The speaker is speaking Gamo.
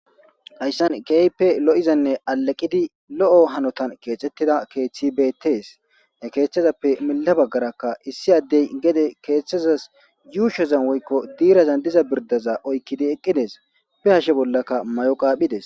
hayssan keehippe lo'izanne aleqidi lo'o hanotan keexettida keeththi beettees ne keeththezappe mila baggarakka issi addey gede keeththazas yuushozan woykko diirazan diza birdaza oykkidi eqqides be hashe bollaka mayo qaaphides